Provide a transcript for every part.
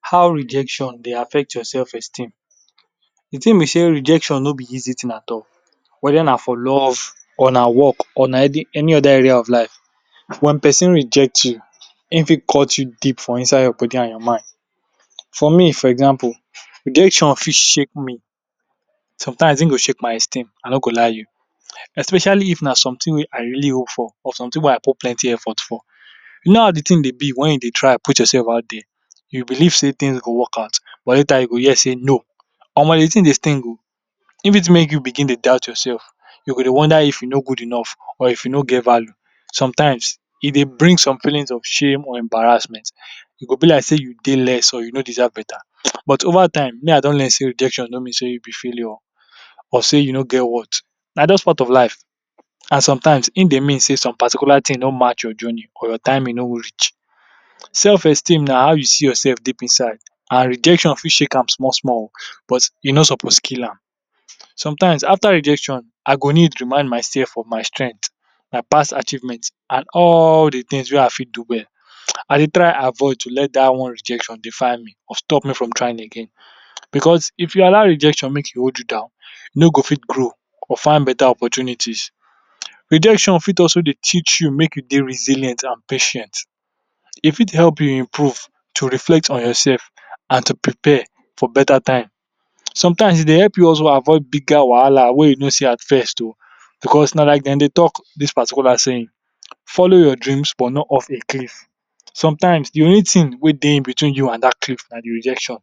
How rejection dey affect your sef esteem, de thing be set rejection no be easy thing at all, wether na for love or na for work or na any area of life, wen persin reject hin fit cut you deep for inside your body and your mind, for me for example, rejection for shake me sometimes hin dey shake my I no go lie you, especially if na something wey I really hope for, or something wey I put plenty effort for, u know how de thing dey be if you de try out yourself out there, u believe sey thing go work out, but later you go hear sey no, Omo de thing dey sting oh, hin fit make u begin dey doubt yourself, u go dey wonder if u no go enough or if u no get value sometimes e dey bring some feelings of shame and embarrassment, e go b like dey u dey less or u no deserve better, but over time me I don learn sey rejectio no mean sey u h failure or dey u no get worth, na jus part of life, and sometimes e dey mean sey some particularly things no match your journey or your timing no reach, self esteem na how you see yourself deep inside and rejection fit shake am small small oh, but u no suppose Jill am, sometimes after rejection I go need remind my self if my strength, my past achievement and all de things wey I fit do, I dey try avoid to let dat one rejection define me, stop me from trying again because if u allow rejection make e hold you down, u ni go fit grow or fit better opportunities, rejection fit dey teach u make u dey resilient and patient e fit help u improve to reflect on yourself, and to prepare for better time, sometimes e dey help u also avoid bigger wahala wey u ni see at first oh, because na like dem dey talk dis particular saying follow your dreams but not off de cliff, sometimes de only thing wey dey between you and dat cliff na de rejection,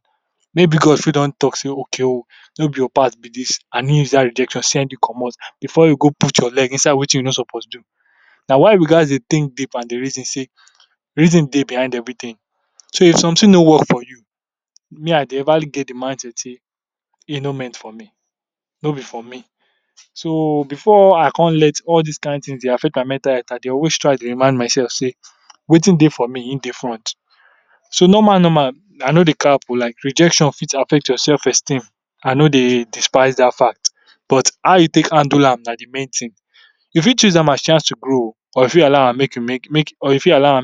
mayb God fit don talk set okay oh, no be your part b dis and hin use dat rejection send you commot, before you go put your leg inside wetin u ni suppose do na why we gatz dey think deep and dey reason sey, reason dey behind everything, so if something no work for you, me I ndeu normally reason sey e ni meant for me, no be for me, so before I con let all dis kind things dey affect my mental health, I dey always try dey remind myself sey, Wetin dey for me hin dey front, so normal normal I no dey cry for like rejection fit affect your self esteem I no dey despise dat fact but how u take handle am na de main thing, u fit choose am as chance to grow oh, or u fit allow am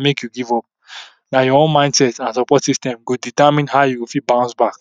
make u give up, but your own mindset and support system go determine how u go fit bounce back.